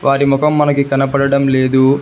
వారి మొఖం మనకి కనపడడం లేదు.